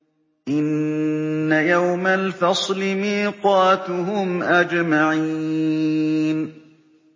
إِنَّ يَوْمَ الْفَصْلِ مِيقَاتُهُمْ أَجْمَعِينَ